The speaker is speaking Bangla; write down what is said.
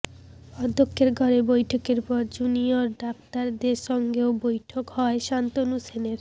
অধ্যক্ষের ঘরে বৈঠকের পর জুনিয়র ডাক্তারদের সঙ্গেও বৈঠক হয় শান্তনু সেনের